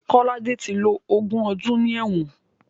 Kolade ti lo ogún ọdún ní ẹ̀wọ̀n